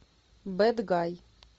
бэд гай